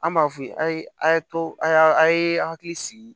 An b'a f'u ye a ye a ye a ye hakili sigi